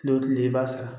Kile o kile i b'a sara